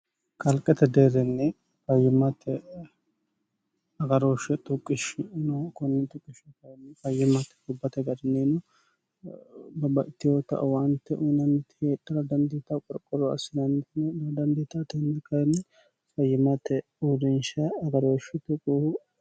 kalqete deerenni fayimate agarooshshe tuqqishshi no kunni tuqqishsh fayyimate rubbate garinino babaitiwoota waante uunanniti heedhira dandiita qorqoroo assinanmitini no dandiita tenni kayirni fayyimate uurinsha agarooshshi tuquuhu